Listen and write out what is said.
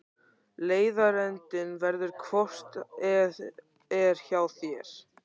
Leiðarendinn verður hvort eð er hjá þér.